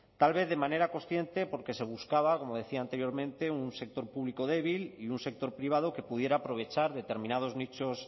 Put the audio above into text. tal vez de manera consciente porque se buscaba como decía anteriormente un sector público débil y un sector privado que pudiera aprovechar determinados nichos